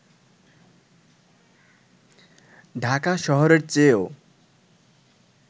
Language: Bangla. ঢাকা শহরের চেয়েও